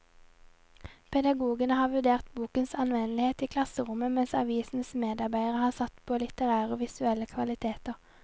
Pedagogene har vurdert bokens anvendelighet i klasserommet, mens avisens medarbeidere har sett på litterære og visuelle kvaliteter.